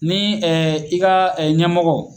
Ni i ka ɲɛmɔgɔ